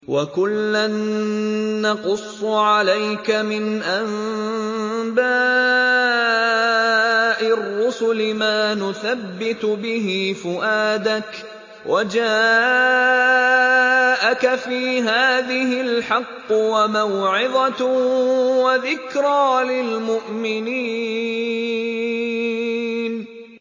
وَكُلًّا نَّقُصُّ عَلَيْكَ مِنْ أَنبَاءِ الرُّسُلِ مَا نُثَبِّتُ بِهِ فُؤَادَكَ ۚ وَجَاءَكَ فِي هَٰذِهِ الْحَقُّ وَمَوْعِظَةٌ وَذِكْرَىٰ لِلْمُؤْمِنِينَ